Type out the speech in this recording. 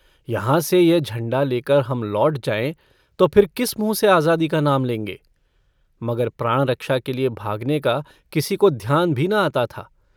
यहाँ से यह झण्डा लेकर हम लौट जायें तो फिर किस मुँह से आजादी का नाम लेंगे मगर प्राणरक्षा के लिए भागने का किसी को ध्यान भी न आता था।